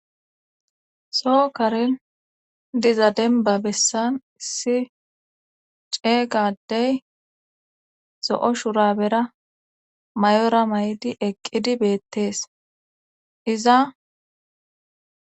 Soo karin diza demba bessan issi ceeygadey zo'o shurabera may7ora may7di eqqidi beettees iza